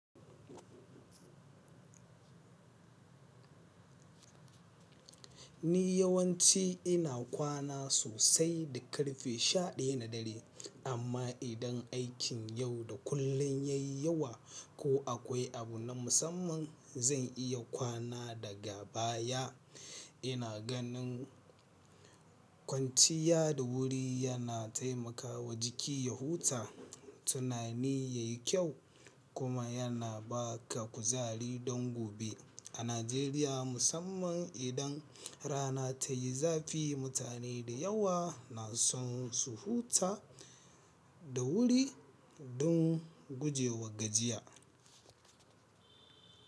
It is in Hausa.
Ni yawanci ina kwana sosai da ƙarfe sha ɗaya na dare, amma idan aikin yau da kullum ya yi yawa ko akwai abu na musamman, zan iya kwana daga baya. Ina ganin kwanciya da wuri yana taimakawa jiki ya huta, tunani ya yi kyau kuma yana ba ka kuzari don gobe. A Najeriya musamman idan rana ta yi zafi, mutane da yawa na son su huta da wuri don gujewa gajiya.